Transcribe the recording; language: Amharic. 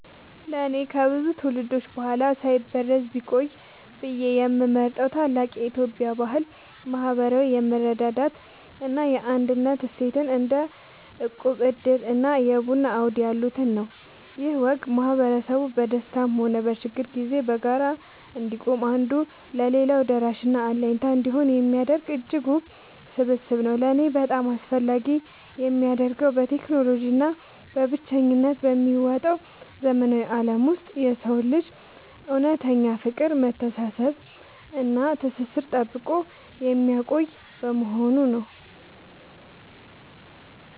ለእኔ ከብዙ ትውልዶች በኋላ ሳይበረዝ ቢቆይ ብዬ የምመርጠው ታላቅ የኢትዮጵያ ባህል **ማህበራዊ የመረዳዳት እና የአንድነት እሴትን** (እንደ እቁብ፣ ዕድር እና የቡና አውድ ያሉትን) ነው። ይህ ወግ ማህበረሰቡ በደስታም ሆነ በችግር ጊዜ በጋራ እንዲቆም፣ አንዱ ለሌላው ደራሽና አለኝታ እንዲሆን የሚያደርግ እጅግ ውብ ስብስብ ነው። ለእኔ በጣም አስፈላጊ የሚያደርገው፣ በቴክኖሎጂ እና በብቸኝነት በሚዋጠው ዘመናዊ ዓለም ውስጥ የሰውን ልጅ እውነተኛ ፍቅር፣ መተሳሰብ እና ትስስር ጠብቆ የሚያቆይ በመሆኑ ነው።